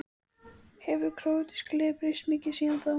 Hefur króatíska liðið breyst mikið síðan þá?